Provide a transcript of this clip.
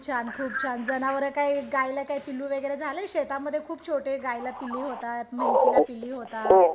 खूप छान खूप छान जनावर काही पिल्लू वगैरे झालं शेतामध्ये खूप छोटे गाईला पिलू होतात म्हेसेला पिलू होतात